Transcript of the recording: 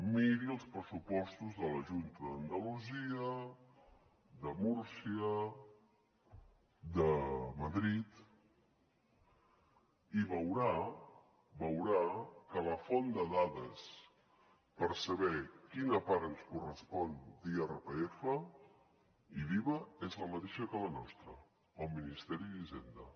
miri els pressupostos de la junta d’andalusia de múrcia de madrid i veurà veurà que la font de dades per saber quina part ens correspon d’irpf i d’iva és la mateixa que la nostra el ministeri d’hisenda